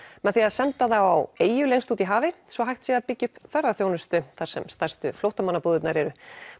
með því að senda þá á eyju lengst úti í hafi svo hægt sé að byggja upp ferðaþjónustu þar sem stærstu flóttamannabúðirnar eru